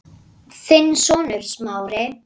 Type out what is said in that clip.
Þinn sonur, Smári.